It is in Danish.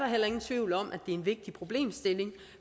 heller ingen tvivl om at det en vigtig problemstilling